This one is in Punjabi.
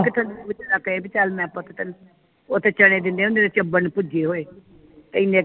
ਕਹੇ ਅਹੀ ਚੱਲ ਮੈਂ ਤੈਨੂੰ ਪੁੱਤ ਉਥੇ ਚਣੇ ਦਿੰਦੇ ਹੁੰਦੇ ਚੱਬਣ ਨੂੰ ਭੁੱਜੇ ਤੇ ਇਨੇ ਕੇ